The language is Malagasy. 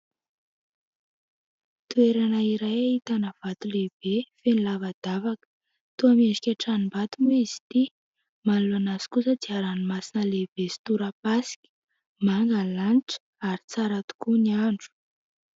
Toerana iray ahitana vato lehibe feno lavadavaka, toa miendrika tranom-bato moa izy ity, manoloana azy kosa dia ranomasina lehibe sy tora-pasika, manga ny lanitra ary tsara tokoa ny andro.